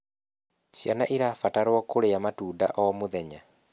Ciana cirabatarwo kurĩa matunda o mũthenya